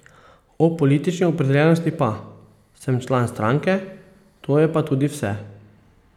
O politični opredeljenosti pa: 'Sem član stranke, to je pa tudi vse.